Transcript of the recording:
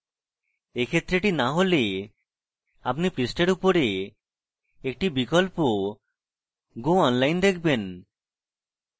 এক্ষেত্রে এটি না হলে আপনি পৃষ্ঠার উপরে একটি বিকল্প go online দেখবেন